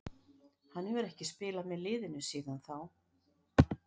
Hann hefur ekki spilað með liðinu síðan þá.